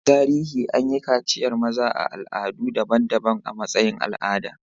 A tarihi, an yi kaciyar maza a al'adu daban-daban a matsayin al'ada.